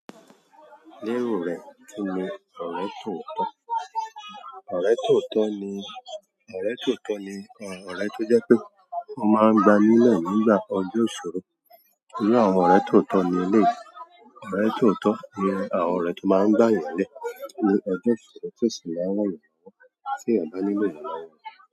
Lérò rẹ kí ni ọ̀rẹ́ tóotọ́? Ọ̀rẹ́ tóotọ ni, ọ̀rẹ́ tóotọ́ ni ọ̀rẹ́ tó jẹ́ pé ó máa ń gba nílẹ̀ nígbà ọjọ́ ìṣòro. Iru àwọn ọ̀rẹ́ tóotọ́ ní eléyìí. Ọ̀rẹ́ tóotọ ni àwọn ọ̀rẹ́ tó máa ń gbà yàn lé ní ọjọ́ ìṣòro tó sì láwọn èèyàn wọ́n tí a bá nílò èèyàn láwọn.